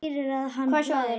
Hvaða sjóður er nú þetta?